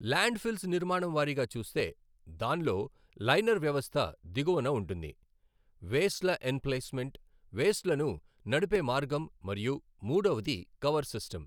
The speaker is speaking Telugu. లాండ్ ఫిల్స్ నిర్మాణం వారీగా చూస్తే దాన్లో లైనర్ వ్యవస్థ దిగువన ఉంటుంది, వేస్ట్ల ఎంప్లేస్మెంట్ వేస్ట్లను నడుపే మార్గం మరియు మూడవది కవర్ సిస్టమ్.